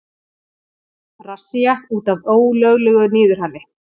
Rassía út af ólöglegu niðurhali